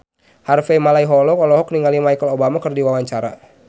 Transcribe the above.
Harvey Malaiholo olohok ningali Michelle Obama keur diwawancara